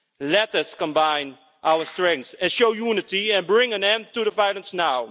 Let us combine our strength and show unity and bring an end to the violence now.